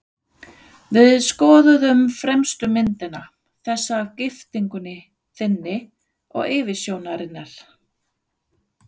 Við skoðuðum fremstu myndina, þessa af giftingunni þinni og yfirsjónarinnar.